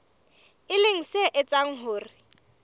e leng se etsang hore